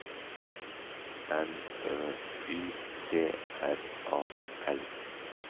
N Ø Y T R A L